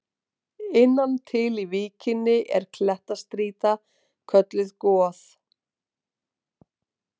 Innan til í víkinni er klettastrýta kölluð Goð.